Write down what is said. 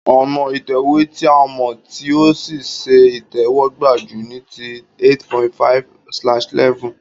Ònà ìtẹ̀wé ti a mò tí o sí se ìtéwógbà ju niti 8.5/11